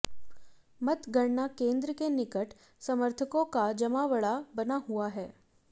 मतगणना केंद्र के निकट समर्थकों का जमावड़ा बना हुआ है